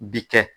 Bi kɛ